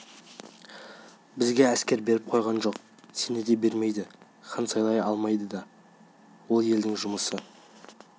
бізге әскер беріп қойған жоқ сене де бермейді хан сайлай ма сайламай ма ол елдің өз жұмысы